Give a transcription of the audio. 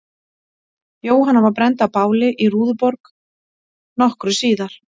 Jóhanna var brennd á báli í Rúðuborg nokkru síðar.